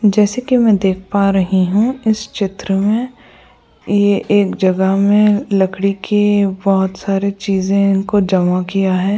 जैसे कि मैं देख पा रही हूं इस चित्र में ये एक जगह में लकड़ी के बहत सारी चीजें इनको जमा किया है।